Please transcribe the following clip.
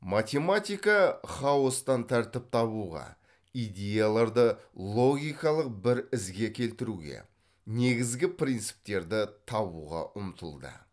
математика хаостан тәртіп табуға идеяларды логикалық бір ізге келтіруге негізгі принциптерді табуға ұмтылды